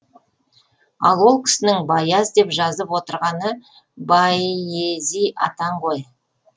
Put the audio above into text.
ал ол кісінің баяз деп жазып отырғаны бәйези атаң ғой